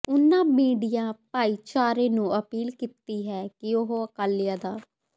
ਉਨ੍ਹਾਂ ਮੀਡੀਆ ਭਾਈਚਾਰੇ ਨੂੰ ਅਪੀਲ ਕੀਤੀ ਹੈ ਕਿ ਉਹ ਅਕਾਲੀਆਂ ਦਾ